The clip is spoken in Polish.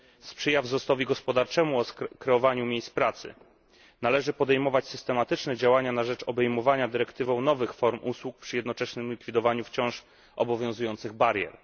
Sprzyja wzrostowi gospodarczemu, kreowaniu miejsc pracy. Należy podejmować systematyczne działania na rzecz obejmowania dyrektywą nowych form usług przy jednoczesnym likwidowaniu wciąż obowiązujących barier.